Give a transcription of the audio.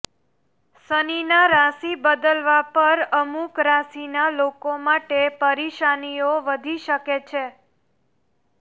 શનિના રાશિ બદલવા પર અમુક રાશિ ના લોકો માટે પરેશાનીઓ વધી શકે છે